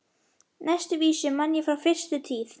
Næstu vísu man ég frá fyrstu tíð.